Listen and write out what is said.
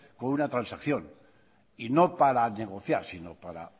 con una transacción y no para negociar sino para